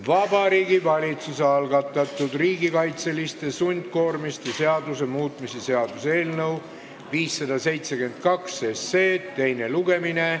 Vabariigi Valitsuse algatatud riigikaitseliste sundkoormiste seaduse muutmise seaduse eelnõu 572 teine lugemine.